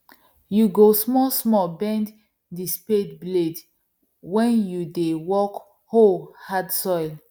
you go small small bend the spade blade wen you dey work oh hard soil